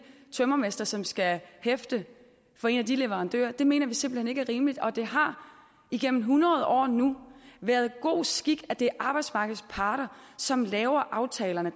tømrermester som skal hæfte for en af de leverandører det mener vi simpelt hen ikke er rimeligt og det har nu gennem hundrede år været god skik at det er arbejdsmarkedets parter som laver aftalerne